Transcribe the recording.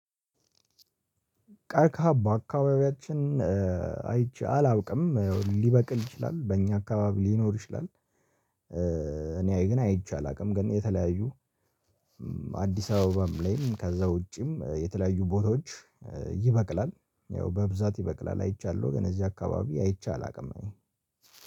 ቀርቀሃ በአካባቢያችን አይቼ አላውቅም ሊበቅል ይችላል በእኛ አካባቢ ሊኖር ይችላል። እኔ ግን አይቼ አላውቅም ግን የተለያዩ አዲስ አበባም ላይም ከዛ ውጪም የተለያዩ ቦታዎች ይበቅላል ያው በብዛት ይበቅላል አይቻለሁ። ግን እዚህ አካባቢ አይቼ አላውቅም።